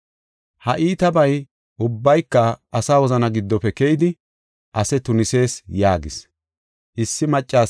Ha iitabay ubbayka asa wozana giddofe keyidi ase tunisees” yaagis.